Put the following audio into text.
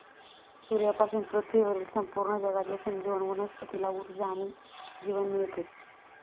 सूर्यापासून पृथ्वीवरील संपूर्ण जगाचे संजीवन वनस्पतीला ऊर्जा आणि जीवन मिळते.